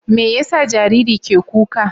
Me ya sa jariri ke kuka?